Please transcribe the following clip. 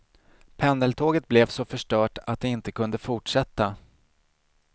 Pendeltåget blev så förstört att det inte kunde fortsätta.